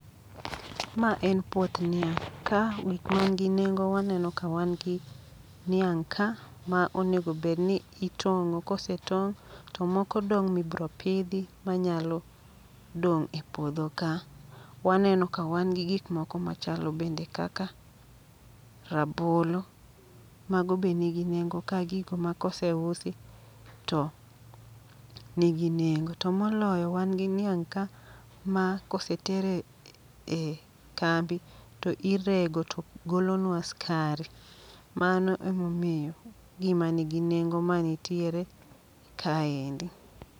Ma en puoth niang', ka gik man gi nengo waneno ka wan gi niang' ka ma onego bedni itong'o. Kose tong', to moko dong' mibro pidhi ma nyalo dong' e puodho ka. Waneno ka wan gi gik moko machalo bende kaka rabolo, mago be nigi nengo ka gigo ma kose usi to nigi nengo. To moloyo wan gi niang' ka ma koseter e ambi to irego to golonwa skari. Mano e momiyo gima nigi nengo manitiere ka endi.